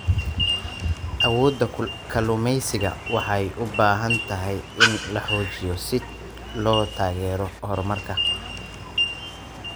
Awoodda kalluumaysatada waxay u baahan tahay in la xoojiyo si loo taageero horumarka.